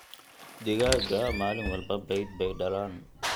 Digaagga maalin walba beed bay dhalaan.